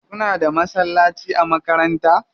Kuna da masallaci a makaranta?